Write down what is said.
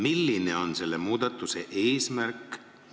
Milline on selle muudatuse eesmärk?